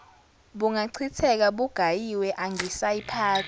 bungachitheka bugayiwe angisayiphathi